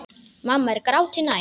Mamma er gráti nær.